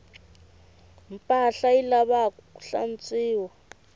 mpahla yi lavaku hlantswiwa